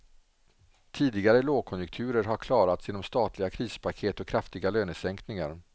Tidigare lågkonjunkturer har klarats genom statliga krispaket och kraftiga lönesänkningar.